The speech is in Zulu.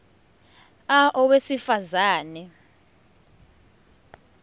a owesifaz ane